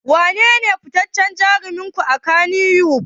Wanene fitaccen jarumin ku a Kannywood?